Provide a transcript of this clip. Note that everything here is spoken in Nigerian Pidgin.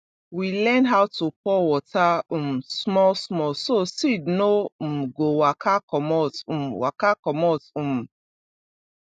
we learn how to pour water um small small so seed no um go waka commot um waka commot um